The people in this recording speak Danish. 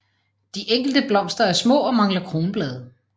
De enkelte blomster er små og mangler kronblade